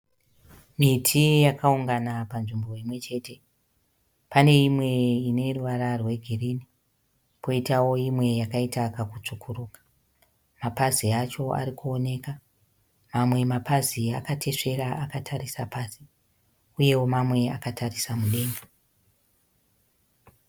Miti yakaungana panzvimbo imwechete paneimwe ineruvara rwegirini poitawo imwe yakaita kakutsvukuruka. Mapazi acho arikuoneka. Mamwe mapazi akatesvera akatarisa pasi, uyewo mamwe akatarisa mudenga.